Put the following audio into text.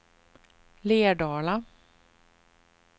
Lerdala